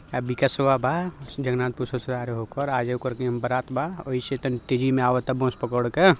अ बिकाशवा बा जगनाथपुर ससुराल हो ओकर आज ओकर बारात बा ओहि से तनी तेजी मे आवाता बस पकर के।